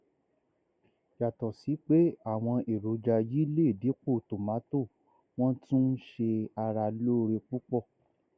yàtọ sí pé àwọn èròjà yìí lè dípò tomato wọn tún ń ṣe ara lóore púpọ